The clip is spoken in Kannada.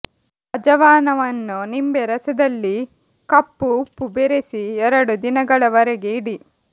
ಅಜವಾನವನ್ನು ನಿಂಬೆ ರಸದಲ್ಲಿ ಕಪ್ಪು ಉಪ್ಪು ಬೆರೆಸಿ ಎರಡು ದಿನಗಳವರೆಗೆ ಇಡಿ